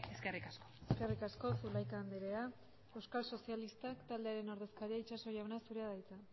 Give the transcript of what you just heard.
eskerrik asko eskerrik asko zulaika andrea euskal sozialistak taldearen ordezkaria itxaso jauna zurea da hitza